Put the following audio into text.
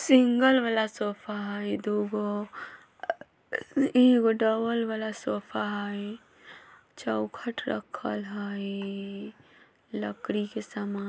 सिंगल वाला सोफा हई दु गो ए एगो डबल वाला सोफा हई चौखट रखल हई लकड़ी के समा --